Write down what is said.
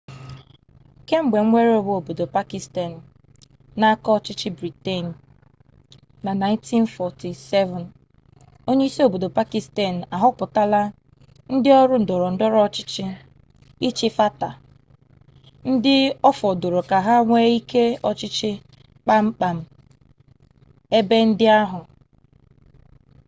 kemgbe nwere onwe obodo pakịstan n'aka ọchịchị briten na 1947 onye isi obodo pakịstan ahọpụtala ndị ọrụ ndọrọ ndọrọ ọchịchị ịchị fata ndị ọfọdụrụ ka ha nwee ike ọchịchị kpamkpam n'ebe ndị ahụ